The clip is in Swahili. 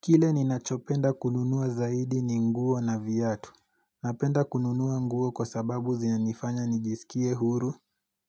Kile ninachopenda kununua zaidi ni nguo na viatu. Napenda kununua nguo kwa sababu zinanifanya nijisikie huru,